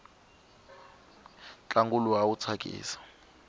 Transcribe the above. ntlangu luwa awu tsakisa